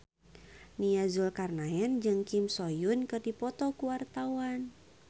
Nia Zulkarnaen jeung Kim So Hyun keur dipoto ku wartawan